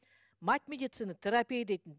мать медицины терапия дейтін